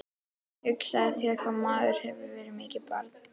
Hugsaðu þér hvað maður hefur verið mikið barn.